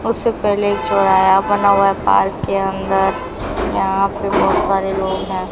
उससे पेहले एक चौराया बना हुआ हैं पार्क के अंदर यहां पे बहोत सारे लोग हैं।